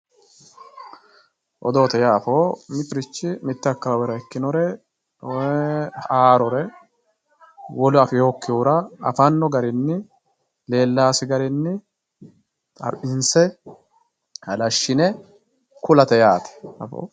odoote yaa afoo mitturich mitte akawaawera ikinore haarore wolu afeeyookihura afanno garinni leellaasi garinni xawinse halashshine kulate yaate afoo.